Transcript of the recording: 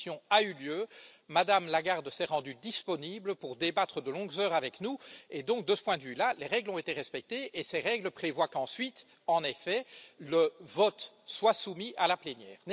Cette audition a eu lieu, Mme Lagarde s'est rendue disponible pour débattre de longues heures avec nous et donc, de ce point de vue là, les règles ont été respectées et ces règles prévoient qu'ensuite, en effet, le vote soit soumis à la plénière.